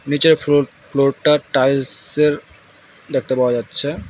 নীচের ফ্লোর ফ্লোরটা টাইলস-স এর দেখতে পাওয়া যাচ্ছে।